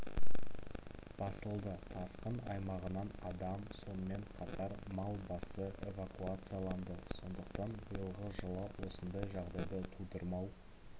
басылды тасқын аймағынан адам сонымен қатар мал басы эвакуацияланды сондықтан биылғы жылы осындай жағдайды тудырмау